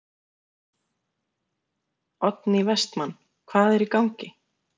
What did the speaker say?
Oddný Vestmann: Hvað er í gangi?